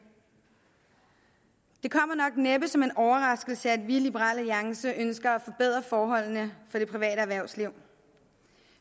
det kommer nok næppe som en overraskelse at vi i liberal alliance ønsker at forbedre forholdene for det private erhvervsliv